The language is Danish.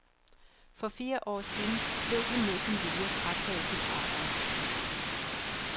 For fire år siden blev han mod sin vilje frataget sit arbejde.